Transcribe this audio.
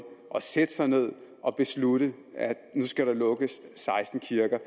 at sætte sig ned og beslutte at der skal lukkes seksten kirker